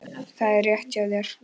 Það er rétt hjá þér.